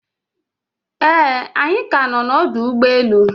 Eeh, anyi ka no na ọdụ ụgbọ enu